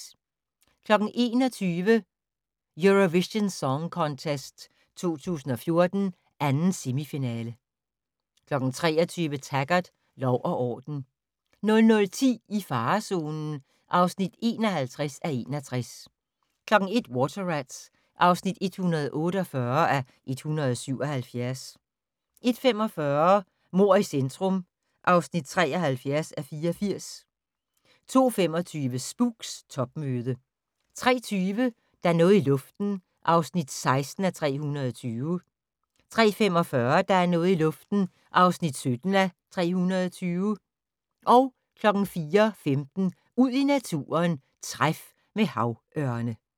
21:00: Eurovision Song Contest 2014, 2. semifinale 23:00: Taggart: Lov og orden 00:10: I farezonen (51:61) 01:00: Water Rats (148:177) 01:45: Mord i centrum (73:84) 02:25: Spooks: Topmøde 03:20: Der er noget i luften (16:320) 03:45: Der er noget i luften (17:320) 04:15: Ud i naturen: Træf med havørne